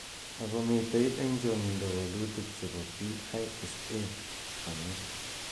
Ako mitei eng changindo walutik che bo PISA ko nyil .